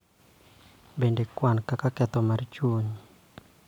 Bende, kwan kaka ketho mar chuny.